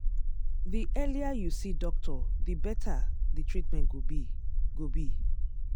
the earlier you see doctor the better the treatment go be. go be.